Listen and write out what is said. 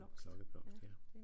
Klokkeblomst ja